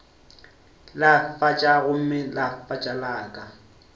lefatša gomme lefatša la ka